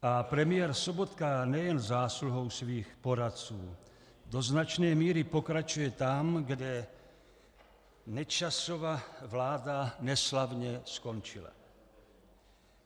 A premiér Sobotka nejen zásluhou svých poradců do značné míry pokračuje tam, kde Nečasova vláda neslavně skončila.